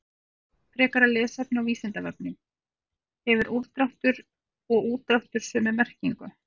Frekara lesefni á Vísindavefnum: Hefur úrdráttur og útdráttur sömu merkingu?